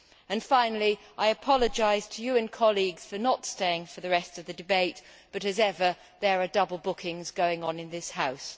And, finally, I apologise to you and colleagues for not staying for the rest of the debate but, as ever, there are double bookings going on in this House.